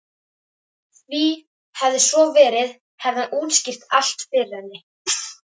Því hefði svo verið hefði hann útskýrt allt fyrir henni.